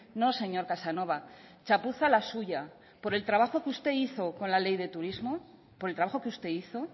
no señor casanova chapuza la suya por el trabajo que usted hizo con la ley de turismo por el trabajo que usted hizo